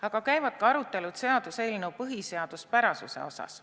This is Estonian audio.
Aga käivad ka arutelud seaduseelnõu põhiseaduspärasuse üle.